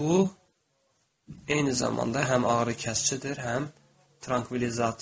Bu eyni zamanda həm ağrıkəsicidir, həm trankvilizator.